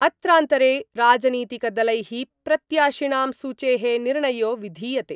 अत्रान्तरे राजनीतिकदलै: प्रत्याशिणां सूचे: निर्णयो विधीयते।